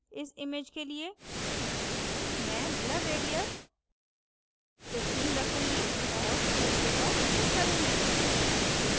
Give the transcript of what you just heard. इस image के लिए मैं blur radius 15 रखूंगी और ok पर click करुँगी